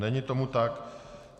Není tomu tak.